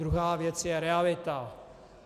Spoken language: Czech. Druhá věc je realita.